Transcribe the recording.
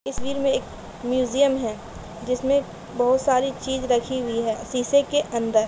तस्वीर में एक म्युजियम है जिसमें बोहोत सारी चीज़ राखी हुई है शीशे के अंदर--